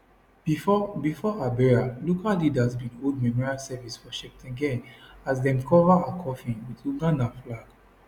before before her burial local leaders bin hold memorial service for cheptegei as dem cover her coffin wit ugandan flag